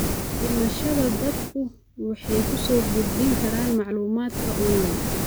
Dhimashada, dadku waxay ku soo gudbin karaan macluumaadka onlayn.